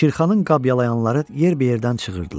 Şirxanın qabyalayanları yer bir yerdən cırırdılar.